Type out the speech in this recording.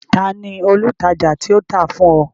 Ta ni olùtajà tí ó tà á fún ọ?